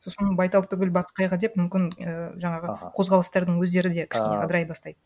сосын байтал түгіл бас қайғы деп мүмкін і жаңағы қозғалыстардың өздері де кішкене ыдырай бастайды